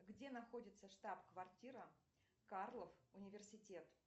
где находится штаб квартира карлов университет